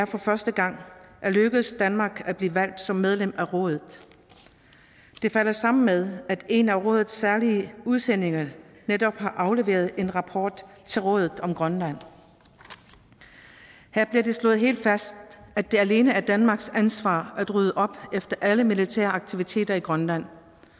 for første gang er lykkedes danmark at blive valgt som medlem af rådet det falder sammen med at en af rådets særlige udsendinge netop har afleveret en rapport til rådet om grønland her blev det slået helt fast at det alene er danmarks ansvar at rydde op efter alle militære aktiviteter i grønland